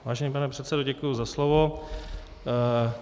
Vážený pane předsedo, děkuji za slovo.